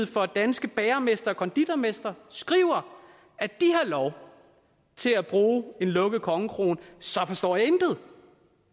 for danske bagermestre og konditormestre skriver at de har lov til at bruge en lukket kongekrone så forstår jeg intet